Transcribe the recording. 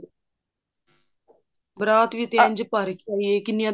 ਬਾਰਾਤ ਵੀ ਤੇ ਇੰਝ ਭਰ ਕੇ ਆਈ ਹੈ